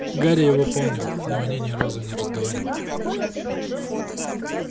гарри его помнил но они ни разу не разговаривали